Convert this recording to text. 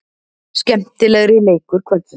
Skemmtilegri leikur kvöldsins.